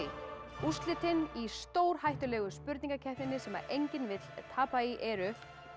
úrslitin í stórhættulegu spurningakeppninni sem enginn vill tapa í eru